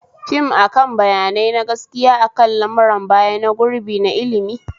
Fim akan bayanai na gaskiya akan lamuran baya na gurbi na ilmi